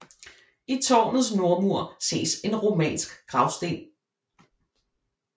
I tårnets nordmur ses en romansk gravsten